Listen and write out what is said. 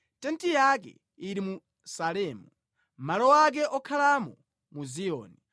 Tenti yake ili mu Salemu, malo ake okhalamo mu Ziyoni.